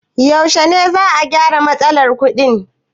Yaushe ne za'a gyara matsalar kuɗin?